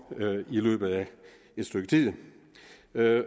i løbet af et stykke tid